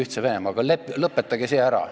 Lõpetage ära see leping Ühtse Venemaaga.